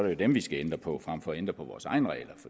jo dem vi skal ændre på frem for at ændre på vores egne regler